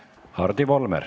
Hardi Volmer.